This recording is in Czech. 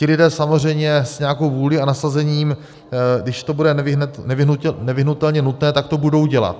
Ti lidé samozřejmě s nějakou vůlí a nasazením, když to bude nevyhnutelně nutné, tak to budou dělat.